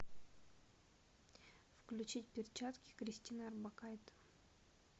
включить перчатки кристина орбакайте